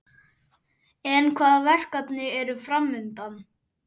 En hvaða verkefni eru framundan?